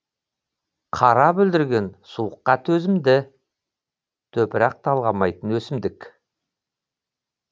қара бүлдірген суыққа төзімді топырақ талғамайтын өсімдік